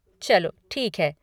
चलो ठीक है।